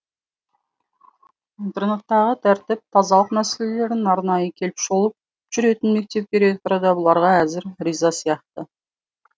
интернаттағы тәртіп тазалық мәселелерін арнайы қеліп шолып жүретін мектеп директоры да бұларға әзір риза сияқты